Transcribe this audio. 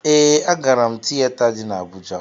Ee, agara m tiyeta dị n'Abụja.